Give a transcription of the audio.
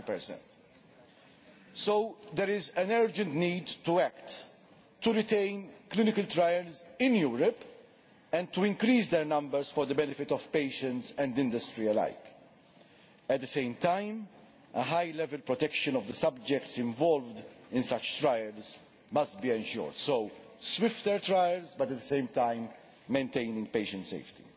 90. So there is an urgent need to act, to retain clinical trials in Europe and to increase their numbers for the benefit of patients and industry alike. At the same time, high level protection of the subjects involved in such trials must be ensured so swifter trials, but at the same time maintaining patient safety.